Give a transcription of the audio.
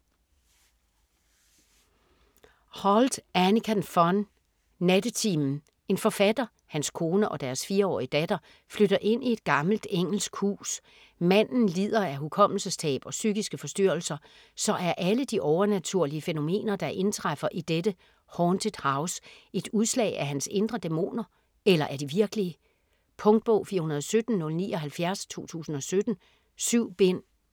Holdt, Annika von: Nattetimen En forfatter, hans kone og deres 4-årige datter flytter ind i et gammelt engelsk hus. Manden lider af hukommelsestab og psykiske forstyrrelser, så er alle de overnaturlige fænomener der indtræffer i dette "haunted house" et udslag af hans indre dæmoner, eller er de virkelige? Punktbog 417079 2017. 7 bind.